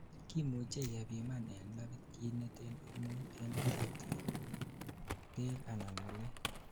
kimuchei kepiman en labit kit neten hormone en karotikguk, beek anan ngulek